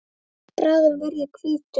Bráðum verð ég hvítur.